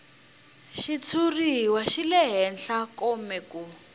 xitshuriwa xi lehe kome ku